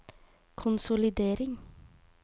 konsolidering